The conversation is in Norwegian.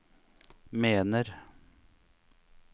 mener